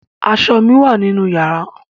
Aṣọ mi wà nínú yàrá.